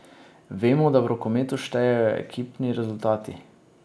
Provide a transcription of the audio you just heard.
Vemo, da v rokometu štejejo ekipni rezultati.